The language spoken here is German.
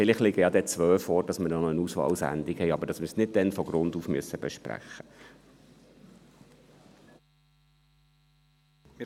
Vielleicht liegen ja dann auch zwei vor, sodass wir eine Auswahlsendung haben –, aber ohne dass wir es dann von Grund auf besprechen müssen.